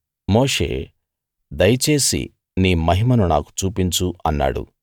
మోషే దయచేసి నీ మహిమను నాకు చూపించు అన్నాడు